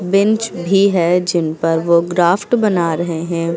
Bench भी है जिन पर वो ग्राफ्ट बना रहे हैं।